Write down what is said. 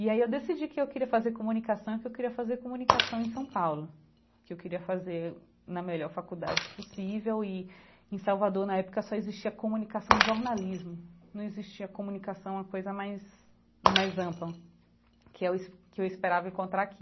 E aí eu decidi que eu queria fazer comunicação e que eu queria fazer comunicação em São Paulo, que eu queria fazer na melhor faculdade possível e em Salvador na época só existia comunicação jornalismo, não existia comunicação a coisa mais mais ampla, que eu es que eu esperava encontrar aqui.